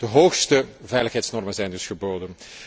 De hoogste veiligheidsnormen zijn dus geboden.